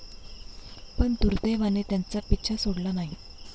पण दुर्दैवाने त्यांचा पिच्छा सोडला नाही.